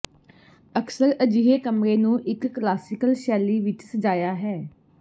ਅਕਸਰ ਅਜਿਹੇ ਕਮਰੇ ਨੂੰ ਇੱਕ ਕਲਾਸੀਕਲ ਸ਼ੈਲੀ ਵਿੱਚ ਸਜਾਇਆ ਹੈ